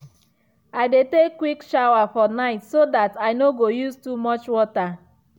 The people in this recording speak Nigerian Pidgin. i dey take quick shower for night so that i no go use too much water.